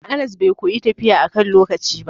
Anas bai koyi tafiya akan lokaci ba.